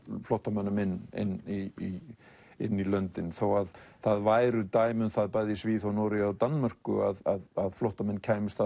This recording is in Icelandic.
flóttamönnum inn inn í inn í löndin þó að það væru dæmi um það bæði í Svíþjóð Noregi og Danmörku að flóttamenn kæmust